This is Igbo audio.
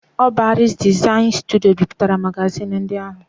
Ọ bụ Aries Design Studio bipụtara magazin ndị ahụ